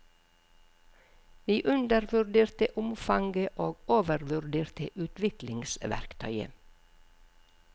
Vi undervurderte omfanget og overvurderte utviklingsverktøyet.